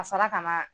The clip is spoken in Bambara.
Ka sɔrɔ ka na